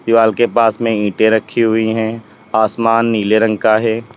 दीवार के पास में ईटे रखी हुई है आसमान नीले रंग का है।